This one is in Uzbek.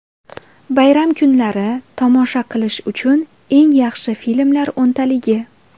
Bayram kunlari tomosha qilish uchun eng yaxshi filmlar o‘ntaligi.